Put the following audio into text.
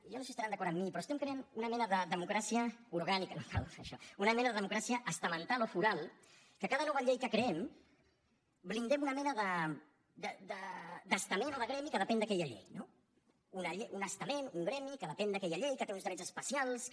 jo no sé si deuen estar d’acord amb mi però creem una mena de democràcia estamental o foral en què en cada nova llei que creem blindem una mena d’estament o de gremi que depèn d’aquella llei un estament un gremi que depèn d’aquella llei que té uns drets especials que